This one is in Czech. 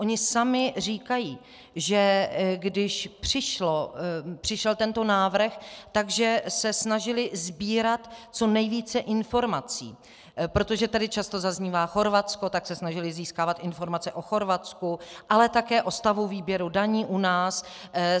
Oni sami říkají, že když přišel tento návrh, že se snažili sbírat co nejvíce informací, protože tady často zaznívá Chorvatsko, tak se snažili získávat informace o Chorvatsku, ale také o stavu výběru daní u nás.